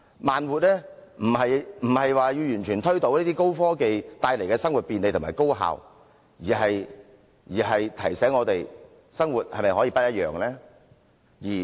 慢活並非要完全推倒高科技帶來的生活便利和高效，而是提醒我們：生活是否可以不一樣呢？